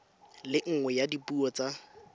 le nngwe ya dipuo tsa